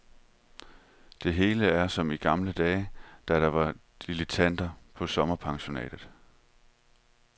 Det hele er som i gamle dage, da der var dilettant på sommerpensionatet.